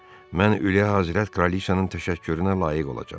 Mən ülilə Həzrət Kraliçanın təşəkkürünə layiq olacam.